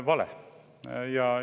Vale!